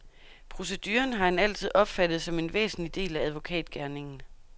Proceduren har han altid opfattet som en væsentlig del af advokatgerningen.